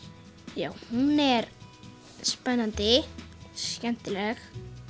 já hún er spennandi skemmtilegt